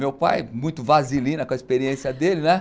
Meu pai, muito vaselina com a experiência dele, né?